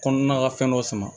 Kɔnɔna ka fɛn dɔ sama